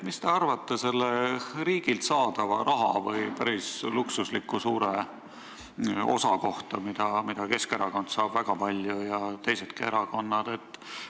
Mis te arvate riigilt saadava päris luksusliku summa kohta, mida Keskerakond saab ja saavad teisedki erakonnad?